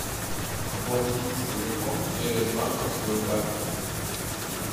оплатить телефон через банковскую карту